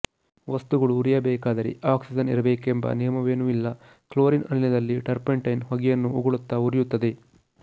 ವಸ್ತುಗಳು ಉರಿಯಬೇಕಾದರೆ ಆಕ್ಸಿಜನ್ ಇರಬೇಕೆಂಬ ನಿಯಮವೇನೂ ಇಲ್ಲ ಕ್ಲೋರಿನ್ ಅನಿಲದಲ್ಲಿ ಟರ್ಪಂಟೈನ್ ಹೊಗೆಯನ್ನು ಉಗುಳುತ್ತ ಉರಿಯುತ್ತದೆ